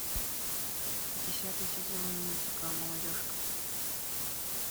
десятый сезон мультика молодежка